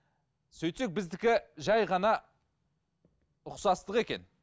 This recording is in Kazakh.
сөйтсек біздікі жай ғана ұқсастық екен